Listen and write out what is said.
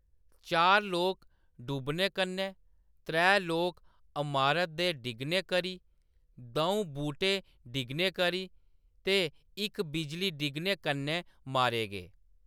चार लोक डूबने कन्नै, त्रै इक अमारत दे डिग्गने करी, दऊं बूह्‌‌टे डिग्गने करी ते इक बिजली डिग्गने कन्नै मारे गे।